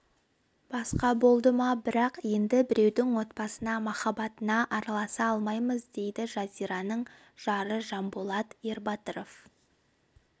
басқа болды ма бірақ енді біреудің отбасына махаббатына араласа алмаймыз дейді жазираның жары жанболат ербатыров